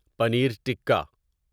paneer tikka